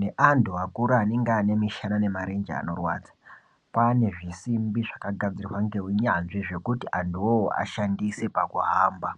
neatu akuru anenge aaane mushana nemirenje zvinorwadza kwaane zvisimbi zvakagadzirwa neunyanzi zvekuti antu iwowo ashandise pakuhamba.